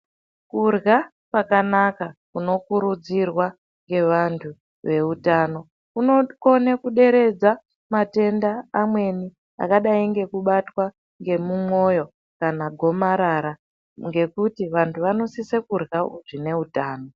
Kurya kwakanaka kunokurudzirwa ngevantu veutano kunokone kuderedza Matenda amweni akadai ngekubatwa ngemumwoyo kana gomarara ngekuti vantu vanosise kurya zvine utano.